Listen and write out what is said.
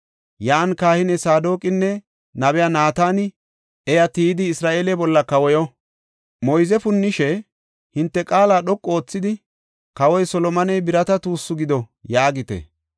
Yan kahiniya Saadoqinne nabiya Naatani iya tiyidi Isra7eele bolla kawoyo. Moyze punnishe, hinte qaala dhoqu oothidi, ‘Kawoy Solomoney birata tuussu gido’ yaagite.